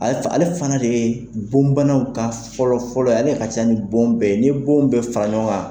A ye fa ale fana de ye bon banaw ka fɔlɔ fɔlɔ, ale ka ca ni bon bɛɛ, ni bon bɛɛ fara ɲɔgɔn kan.